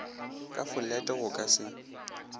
ka folete go ka se